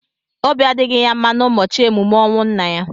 Obi adịghị ya mma n'ụbọchị emume ọnwụ nna ya.